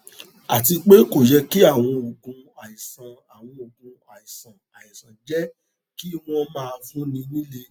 àti pé kò yẹ kí àwọn oògùn àìsàn àwọn oògùn àìsàn àìsàn jẹ kí wón máa fúnni nílé